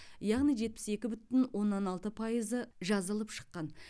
яғни жетпіс екі бүтін оннан алты пайызы жазылып шыққан